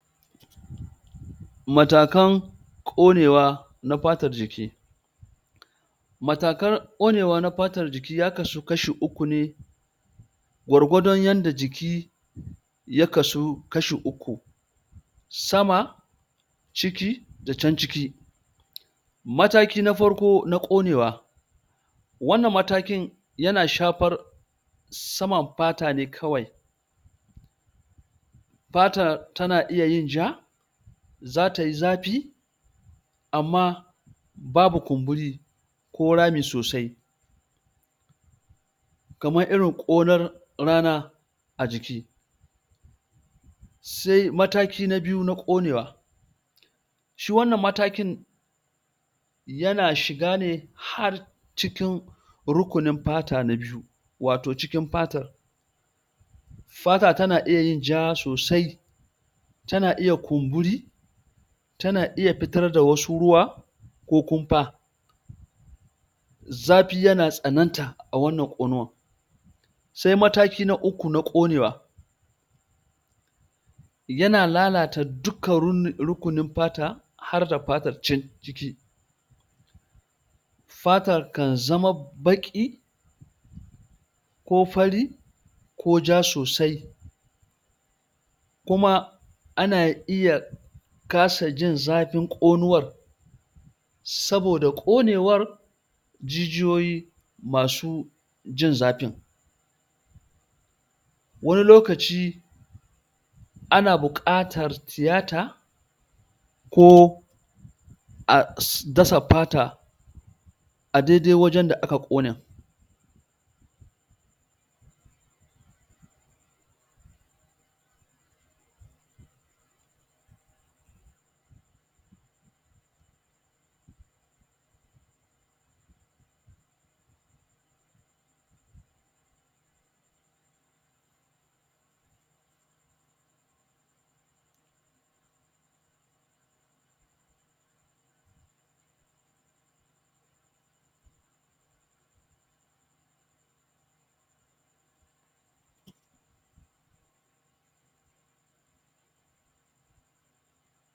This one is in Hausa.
matakan konewa na fatar jiki matakan konewa na fatar jiki ya kaso kashi uku ne gwargwadon yadda jiki ya kasu kashi uku sama ciki, da can ciki mataki na farko na konewa wannan matakin yana shafar saman fata ne kawai fata tana iya yin ja' zatayi zafi amma babu kumburi ko rami sosai kamar irin konar rana a jiki sai mataki na biyu na konewa shi wannan matakin yana shiga ne ha cikin rukunin fata na biyu wato cikin fatr fata tana iya yin ja sosai tana iya yin kumburi tana iya fitar da wasu ruwa ko kumfa zafi yana tsananta a wannan konuwar sai mataki na uku na konewa yana lalata dukan rukunin fata harda fatar can ciki fatar kan zama baki ko fari ko ja sosai kuma ana iya kasa jin zafin konuwar saboda konewar jijiyoyi masu jin zafin wani lokaci ana bukatar tiyata ko a dasa fata a dai dai wajen da aka kone